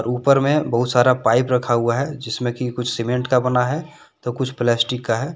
ऊपर में बहुत सारा पाइप रखा हुआ है जिसमें कि कुछ सीमेंट का बना है तो कुछ प्लास्टिक का है।